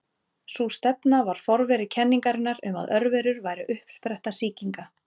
Sú stefna var forveri kenningarinnar um að örverur væru uppspretta sýkinga.